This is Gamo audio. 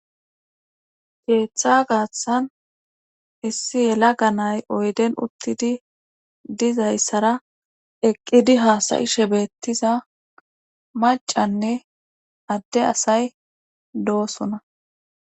keeththa gaathan issi yela ganay oyden uttidi dizayssara eqqidi haasayish ebettiza macanne adde asay doosona